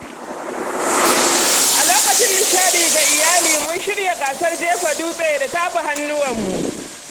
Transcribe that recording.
A lokacin nishaɗi ga iyali, mun shirya gasar jefa dutse da tafa hannuwanmu.